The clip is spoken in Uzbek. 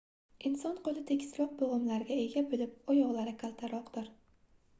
inson qoʻli tekisroq boʻgʻimlarga ega boʻlib oyoqdan kaltaroqdir